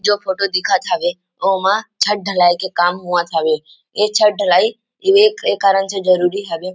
जो फोटो दिखत हावे उमा छत ढलाई के काम होवत हवे ये छत ढलाई ए एक कारण से जरुरी हवे ।